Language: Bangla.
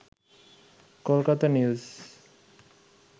কলকাতা নিউজ